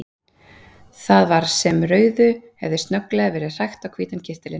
Það var sem rauðu hefði snögglega verið hrækt á hvítan kyrtilinn.